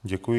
Děkuji.